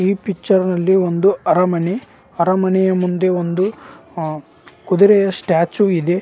ಈ ಪಿಕ್ಚರ್ ಅಲ್ಲಿ ಅರಮನೆ ಅರಮನೆ ಮುಂದೆ ಒಂದು ಸ್ಟ್ಯಾಚು ಇದೆ.